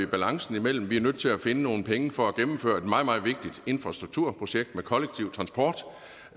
balancen mellem at vi er nødt til at finde nogle penge for at gennemføre et meget meget vigtigt infrastrukturprojekt med kollektiv transport og